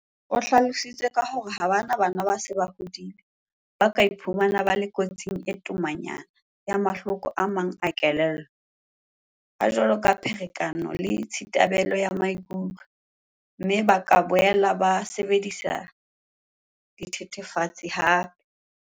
O hlalositse ka hore ha bana bana ba se ba hodile, ba ka iphumana ba le kotsing e tomanyana ya mahloko a mang a kelello, a jwalo ka pherekano le tshithabelo ya maikutlo, mme ba ka boela ba sebedisa dithethefatsi hampe.